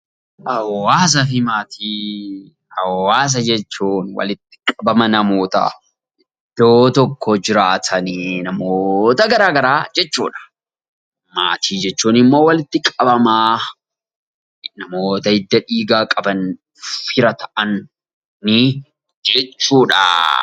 Hawaasa jechuun walitti qabama namootaa iddoo tokko jiraatanii namoota gara garaa jechuudha. Maatii jechuun immoo walitti qabama namoota hidda dhiigaa qaban fira ta'ani jechuudha.